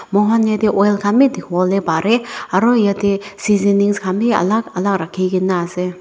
moikhan yate oil khan bhi dekhi bole pare aru yate seasoning khan bhi alag alag rakhi kena ase.